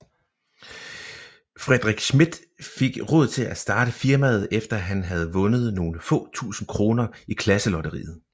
Frederik Smidth fik råd til at starte firmaet efter han havde vundet nogle få tusinde kroner i klasselotteriet